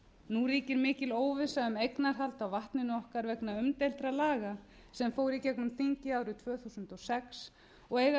nú ríkir mikil óvissa um eignarhald á vatninu okkar vegna umdeildra laga sem fór í gegnum þingið árið tvö þúsund og sex og eiga að taka